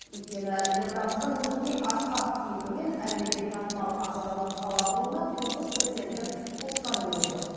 өйткені елордамыздың бүгінгідей асқақ кейпі мен әлемге танымал ажарлы қала болуына тұңғыш президенттің қосқан үлесі зор